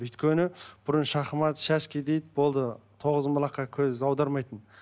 өйткені бұрын шахмат шашки дейді болды тоғызқұмалаққа көз аудармайтын